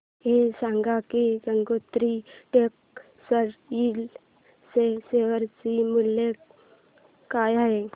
हे सांगा की गंगोत्री टेक्स्टाइल च्या शेअर चे मूल्य काय आहे